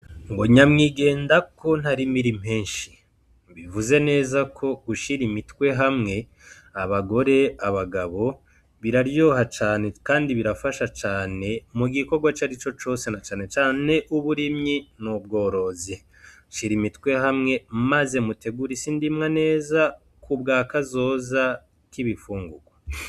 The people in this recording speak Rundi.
Nyamwigendako ntarimira impeshi. Bivuzeko gushira imitwe hamwe abagore, abagabo biraryoha cane kandi birafasha cane mugikorwa icarico cose na canecane muburimyi n'ubworozi. Shira imitwe hamwe maze mutegure isindimwa neza kubwakazoza k'ibifungugwa.